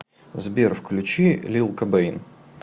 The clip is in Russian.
сбер включи лил кобэйн